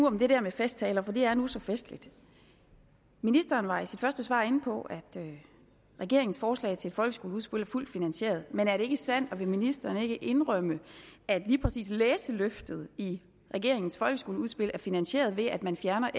om det der med festtaler for det er nu så festligt ministeren var i sit første svar inde på at regeringens forslag til et folkeskoleudspil er fuldt finansieret men er det ikke sandt og vil ministeren ikke indrømme at lige præcis læseløftet i regeringens folkeskoleudspil er finansieret ved at man fjerner